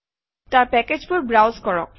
তাৰ পেকেজবোৰ ব্ৰাউজ কৰক